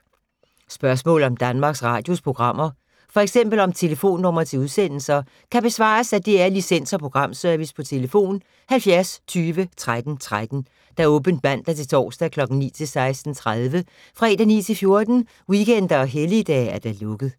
Spørgsmål om Danmarks Radios programmer, f.eks. om telefonnumre til udsendelser, kan besvares af DR Licens- og Programservice: tlf. 70 20 13 13, åbent mandag-torsdag 9.00-16.30, fredag 9.00-14.00, weekender og helligdage: lukket.